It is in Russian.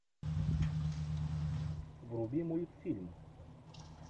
вруби мультфильм